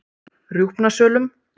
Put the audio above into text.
Rjúpnasölum